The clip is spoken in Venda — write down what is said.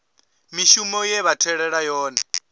mishumo ye vha tholelwa yone